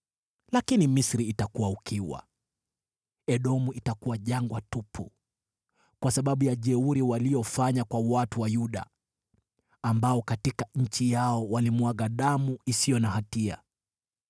Lakini Misri itakuwa ukiwa, Edomu itakuwa jangwa tupu, kwa sababu ya jeuri waliofanya kwa watu wa Yuda, ambao katika nchi yao walimwaga damu isiyo na hatia.